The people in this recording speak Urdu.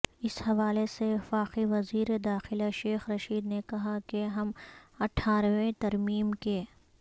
اس حوالے سے وفاقی وزیر داخلہ شیخ رشید نے کہا کہ ہم اٹھارہویں ترمیم کے